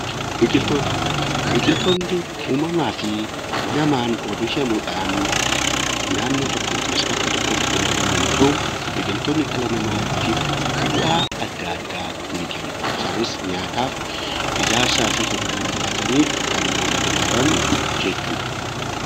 Biqiloonni uummamaa fi naman oomishamuudhan naannoo yookiin bakka tokkotti kan argaman yoo ta'u biqiloonni dhala namaatiif faayidaa adda addaa ni kennu isaaniis nyaataaf, ijaarsaa fi kan kana fakkaatan jechuudha.